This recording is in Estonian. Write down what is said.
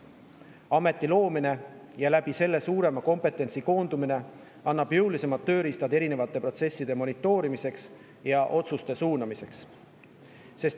Ameti loomine ja selle tõttu suurema kompetentsi koondumine annab jõulisemad tööriistad erinevate protsesside monitoorimiseks ja otsuste suunamiseks.